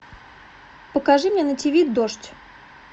покажи мне на тв дождь